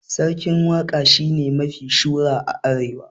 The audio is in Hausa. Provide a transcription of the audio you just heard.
Sarkin waka shine mafi shura a arewa